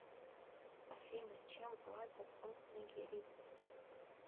афина чем платят у нигерийцев